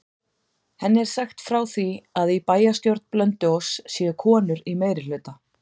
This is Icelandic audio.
Henni er sagt frá því að í bæjarstjórn Blönduóss séu konur í meirihluta.